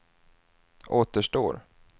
återstår